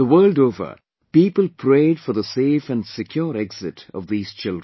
The world over, people prayed for the safe & secure exit of these children